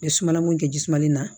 N bɛ sumanna mun kɛ ji mali la